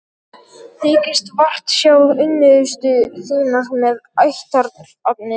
Þykist vart sjá unnustu þína með ættarnafnið.